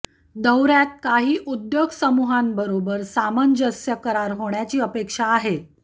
दौर्यात काही उद्योग समूहांबरोबर सामंजस्य करार होण्याची अपेक्षा आहे